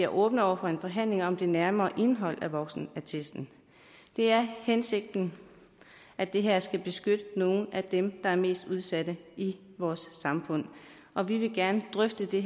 åbne over for en forhandling om det nærmere indhold af voksenattesten det er hensigten at det her skal beskytte nogle af dem der er mest udsatte i vores samfund og vi vil gerne drøfte det